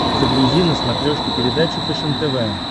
загрузи на смотрешке передачу фэшен тв